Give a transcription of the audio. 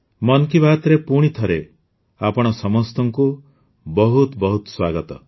ମନ୍ କି ବାତ୍ରେ ପୁଣି ଥରେ ଆପଣ ସମସ୍ତଙ୍କୁ ବହୁତ ବହୁତ ସ୍ୱାଗତ